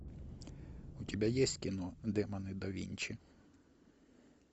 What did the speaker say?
у тебя есть кино демоны да винчи